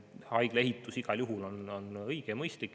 Haigla ehitus on igal juhul õige ja mõistlik.